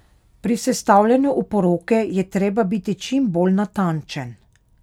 Pri sestavljanju oporoke je treba biti čim bolj natančen.